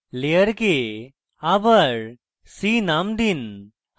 layer আবার sea নাম দিন